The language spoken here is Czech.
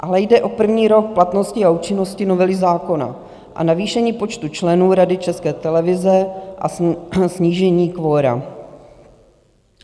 Ale jde o první rok platnosti a účinnosti novely zákona a navýšení počtu členů Rady České televize a snížení kvora.